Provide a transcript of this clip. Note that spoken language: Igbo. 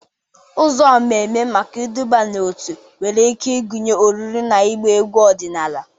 Ụzọ mmemme maka iduba n'otu nwere ike ịgụnye oriri na ịgba egwu ọdịnala.